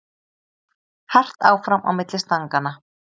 Hart áfram á milli stanganna